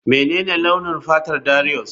Menene launin fatar Darius?